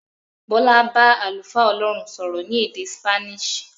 Bọ́lá bá àlùfáà Ọlọ́run sọ̀rọ̀ ní èdè Spanish.